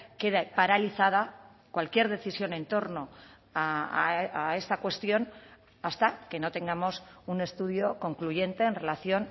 quede paralizada cualquier decisión en torno a esta cuestión hasta que no tengamos un estudio concluyente en relación